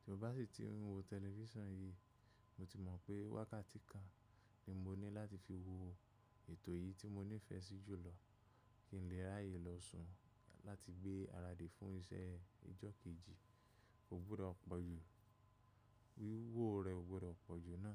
Tí mo bá sì ti ń wo tẹlifísàn yìí, mo ti mọ̀ pé wákàtí kan ni mo ní láti fi wo ètò yìí tí mo nífẹ̀ẹ́ sí jù lọ kí n lè ráyè lọ sun láti gbé ara dé fún iṣẹ́ ọjọ́ kejì. O gbúdọ̀ pọ̀jù, wíwò rẹ̀ ò gbúdọ̀ pọ̀jù ná.